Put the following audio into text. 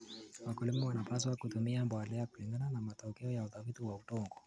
Wakulima wanapaswa kutumia mbolea kulingana na matokeo ya utafiti wa udongo.